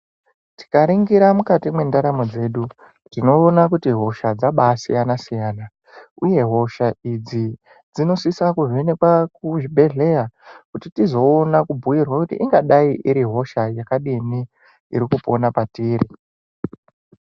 Tikaringira mukati mwendaramo dzedu tinoona kuti hosha dzabaasiyana-siyana. Uye hosha idzi dzinosisa kuvhenekwa kuzvibhedhleya kuti tizoona kubhuirwa kuti ingadai iri hosha iri irikupona patiri.